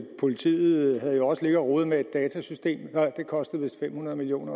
at politiet jo også har ligget og rodet med et it system det kostede vist fem hundrede million